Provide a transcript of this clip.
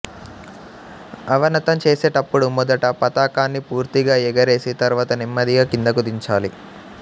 అవనతం చేసేటప్పుడు మొదట పతాకాన్ని పూర్తిగా ఎగరేసి తర్వాత నెమ్మదిగా కిందకు దించాలి